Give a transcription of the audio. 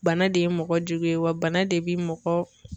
Bana de ye mɔgɔ jugu ye wa bana de bɛ mɔgɔ